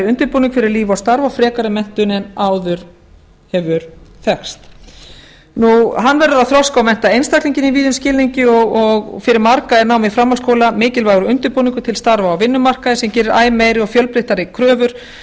undirbúning fyrir líf og starf og frekari menntun en áður hefur þekkst hann verður að þroska og mennta einstaklinginn í víðum skilningi og fyrir marga er nám í framhaldsskóla mikilvægur undirbúningur til starfa á vinnumarkaði sem gerir æ meiri og fjölbreyttari kröfur